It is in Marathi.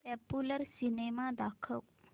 पॉप्युलर सिनेमा दाखव